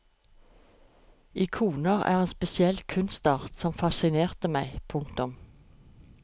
Ikoner er en spesiell kunstart som fascinerte meg. punktum